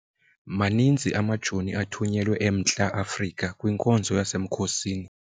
Maninzi amajoni athunyelwe eMntla-Afrika kwinkonzo yasemkhosini.